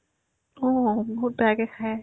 অ, বহুত বেয়াকে খাই